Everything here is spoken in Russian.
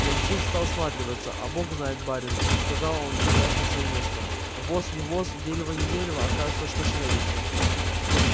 ямщик стал всматриваться а бог знает барин сказал он садясь на своё место воз не воз дерево не дерево а кажется что шевелится